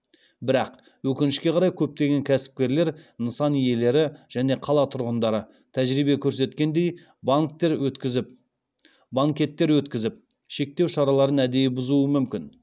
бірақ өкінішке қарай көптеген кәсіпкерлер нысан иелері және қала тұрғындары тәжірибе көрсеткендей банкеттер өткізіп шектеу шараларын әдейі бұзуы мүмкін